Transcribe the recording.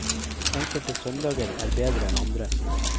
Enkelte søndager er bedre enn andre.